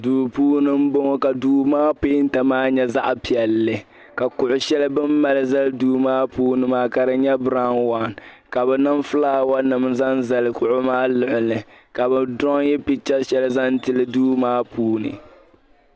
Duu puuni m-bɔŋɔ ka duu maa peenta maa nyɛ zaɣ' piɛlli ka kuɣ' shɛli bɛ ni mali zali duu maa puuni maa ka di nyɛ biraun wan ka bɛ niŋ fulaawanima zaŋ zali kuɣu maa luɣili ka bɛ diraunyi picha shɛli zaŋ tili duu maa puuni.